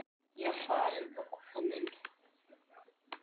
Ég er farin og komin.